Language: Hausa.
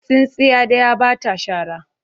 Tsintsiya ɗaya ba ta shara.